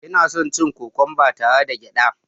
Ina son cin kokwamba tare da gyada